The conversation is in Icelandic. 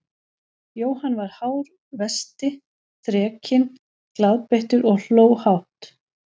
Jóhann var hár vesti, þrekinn, glaðbeittur og hló hátt.